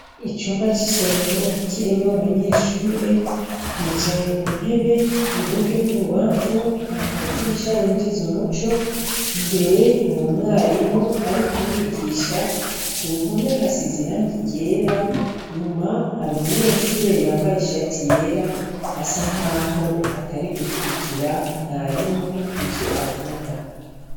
Icumba c'isomero kirimwo abanyeshure bicaye ku ntebe iburyo n'ibubamfu hari amadirisha yinjiza umuco, imbere hari umwarimu ari kubigisha ku ruhome hasize irangi ryera, inyuma hari umunyeshure yambaye ishati yera asa nkaho atari gukwirikira mwarimu ivyo avuga.